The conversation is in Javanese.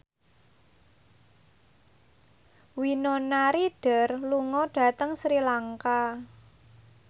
Winona Ryder lunga dhateng Sri Lanka